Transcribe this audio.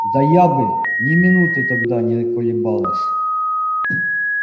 да я бы ни минуты тогда не колебалась